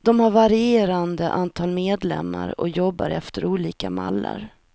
De har varierande antal medlemmar och jobbar efter olika mallar.